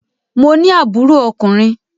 Mo ní àbúrò ọkùnrin.